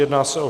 Jedná se o